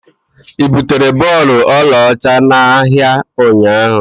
Ị butere bọọlụ ọlaọcha n'ahịa ụnyahụ?